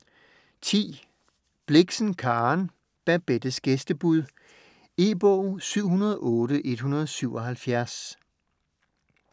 Blixen, Karen: Babettes gæstebud E-bog 708177